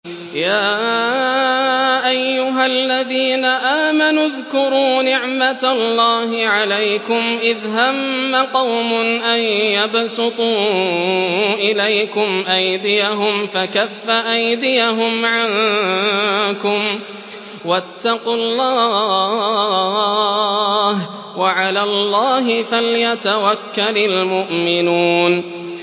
يَا أَيُّهَا الَّذِينَ آمَنُوا اذْكُرُوا نِعْمَتَ اللَّهِ عَلَيْكُمْ إِذْ هَمَّ قَوْمٌ أَن يَبْسُطُوا إِلَيْكُمْ أَيْدِيَهُمْ فَكَفَّ أَيْدِيَهُمْ عَنكُمْ ۖ وَاتَّقُوا اللَّهَ ۚ وَعَلَى اللَّهِ فَلْيَتَوَكَّلِ الْمُؤْمِنُونَ